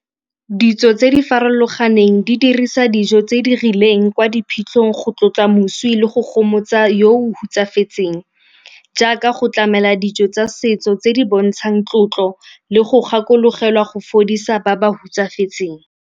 Ditso tse di farologaneng di dirisa dijo tse di rileng kwa diphitlhong go tlotla moswi le go gomotsa yo o hutsafetseng, jaaka go tlamela dijo tsa setso tse di bontshang tlotlo le go gakologelwa go fodisa ba ba hutsafetseng.